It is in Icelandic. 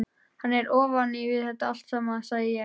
Hann er ofan við þetta allt saman, sagði ég.